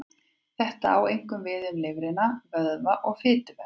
Þetta á einkum við um lifrina, vöðva og fituvef.